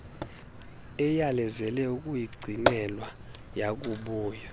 eyalezele ukuyigcinelwa yakubuya